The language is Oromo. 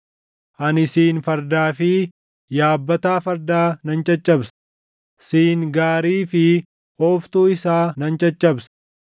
Ani siin fardaa fi yaabbataa fardaa nan caccabsa; siin gaarii fi ooftuu isaa nan caccabsa;